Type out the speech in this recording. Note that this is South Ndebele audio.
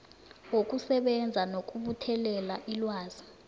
wokusebenza nokubuthelela ilwazi